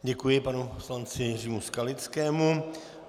Děkuji panu poslanci Jiřímu Skalickému.